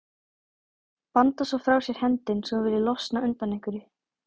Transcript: Bandar svo frá sér hendi eins og hún vilji losna undan einhverju.